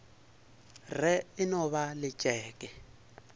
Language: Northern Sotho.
re e no ba letšeke